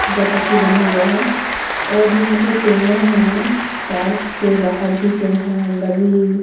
फिसलपट्टी बना हुआ है और यहां पे पेड़ है पार्क के बाहर भी पेड़ है और अंदर भी--